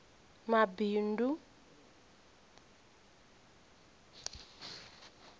mabindu